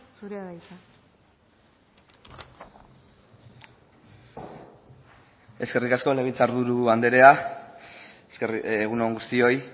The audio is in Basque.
zurea da hitza eskerrik asko legebiltzar buru andrea egun on guztioi